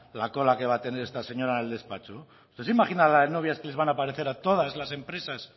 la cola que va a tener esta señora en el despacho usted se imagina la de novias que les van a aparecer a todas las empresas